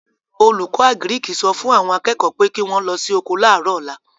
Olùkọ́ àgíríkì sọ fún àwọn akẹ́kọ̀ọ́ pé kí wọ́n lọ sí oko láàrọ̀ ọ̀la